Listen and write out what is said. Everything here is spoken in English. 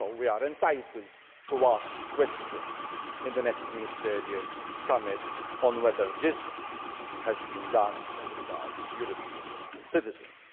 So we are entitled to ask questions in the next ministerial summit on whether this has been done as regards European citizens.